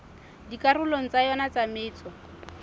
dikarolong tsa yona tsa metso